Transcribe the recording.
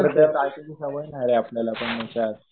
परत त्यात रायटिंगची सवय नाही रे आपल्याला पण त्यात.